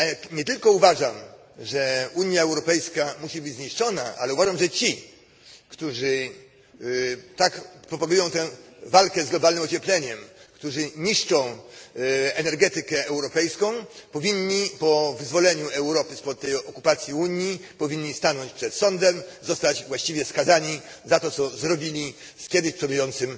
Nie tylko uważam, że Unia Europejska musi być zniszczona, ale uważam, że ci, którzy tak propagują tę walkę z globalnym ociepleniem, którzy niszczą energetykę europejską, powinni, po wyzwoleniu Europy spod okupacji Unii, stanąć przed sądem, zostać właściwie skazani za to, co zrobili z tym niegdyś przodującym